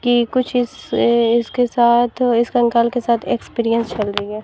कि कुछ इससे इसके साथ इस कंकाल के साथ एक्सपीरियंस चल रही है।